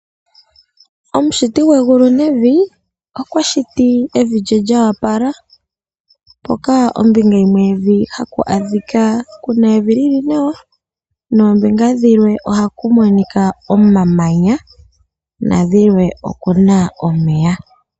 Omushiti gwegulu nevi okwashiti evi lye lyo opala mpoka ombinga yimwe yevi kuna evi lili nawa nombinga yimwe ohaku monika omamanya, nokulwe okuna omeya.